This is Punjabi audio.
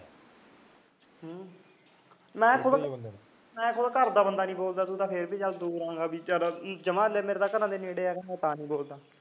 ਹਾਂ ਮੈਂ ਤਾਂ ਘਰ ਦੇ ਬੰਦੇ ਨਾਲ ਨੀ ਬੋਲਦਾ ਤੂੰ ਤਾਂ ਫਿਰ ਦੂਰ ਦਾ ਜਮਾ ਮੇਰੇ ਘਰ ਦੇ ਨੇੜੇ ਮੈਂ ਤਾਂ ਨੀ ਬੋਲਦਾ